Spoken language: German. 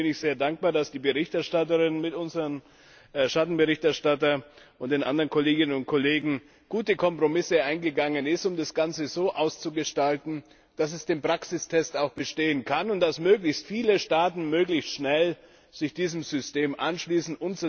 Und deswegen bin ich sehr dankbar, dass die Berichterstatterin mit unserem Schattenberichterstatter und den anderen Kolleginnen und Kollegen gute Kompromisse eingegangen ist, um das Ganze so auszugestalten, dass es den Praxistest auch bestehen kann und dass möglichst viele Staaten möglichst schnell sich diesem System anschließen.